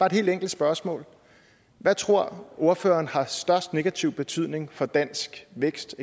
et helt enkelt spørgsmål hvad tror ordføreren har størst negativ betydning for dansk vækst